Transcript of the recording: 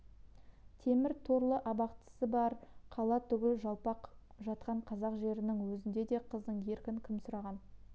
темір торлы абақтысы бар қала түгіл жалпақ жатқан қазақ жерінің өзінде де қыздың еркін кім сұраған